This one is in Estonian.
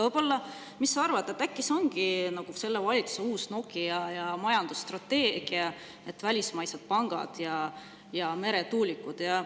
Aga mis sa arvad, äkki see ongi selle valitsuse uus Nokia ja majandusstrateegia, et välismaised pangad ja meretuulikud?